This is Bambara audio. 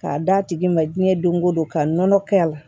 K'a d'a tigi ma diɲɛ don go don ka nɔnɔ kɛ a la